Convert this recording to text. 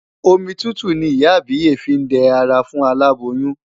Omi tútù ni ìyá àbíyè fí ń dẹ ara fún aláboyún.